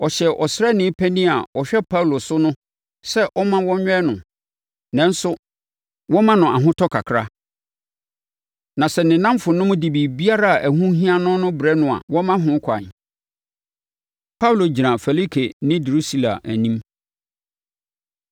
Ɔhyɛɛ ɔsraani panin a na ɔhwɛ Paulo so no sɛ ɔmma wɔnwɛn no, nanso wɔmma no ahotɔ kakra. Na sɛ ne nnamfonom de biribiara a ɛho hia no no rebrɛ no a, wɔmma ho kwan. Paulo Gyina Felike Ne Drusila Anim